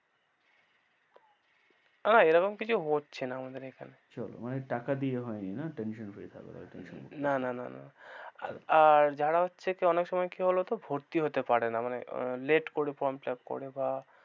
না এরকম কিছু হচ্ছে না আমদের এখানে, চলো মানে টাকা দিয়ে হয়নি না tension free থাকো তাহলে tension করতে হবে না, না না না আর যারা হচ্ছে কি অনেক সময় কি বলতো ভর্তি হতে পারে না মানে late করে form fill up করে বা,